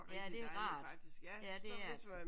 Ja det er rart. Ja det er det